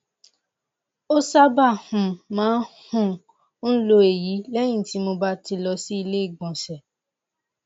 ó sábà um máa um ń lọ èyí lẹyìn tí mo bá ti lọ sí ilé ìgbọnsẹ